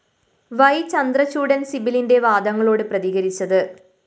യ്‌ ചന്ദ്രചൂഡന്‍ സിബലിന്‍റെ വാദങ്ങളോട് പ്രതികരിച്ചത്